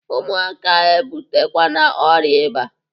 Ụmụaka a ebutekwana ọrịa ịba!